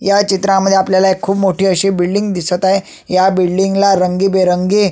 ह्या चित्रामध्ये आपल्याला एक खुप मोठी अशी बिल्डिंग दिसत आहे या बिल्डिंग ला रंगीबेरंगी--